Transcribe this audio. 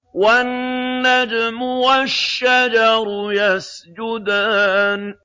وَالنَّجْمُ وَالشَّجَرُ يَسْجُدَانِ